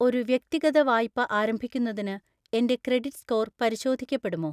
ഒരു വ്യക്തിഗത വായ്പ ആരംഭിക്കുന്നതിന് എൻ്റെ ക്രെഡിറ്റ് സ്കോർ പരിശോധിക്കപ്പെടുമോ?